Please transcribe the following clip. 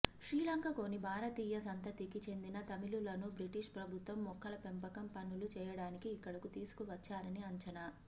శ్రీలంకలోని భారతీయ సంతతికి చెందిన తమిళులను బ్రిటిష్ ప్రభుత్వం మొక్కల పెంపకం పనులు చేయడానికి ఇక్కడకు తీసుకువచ్చారని అంచనా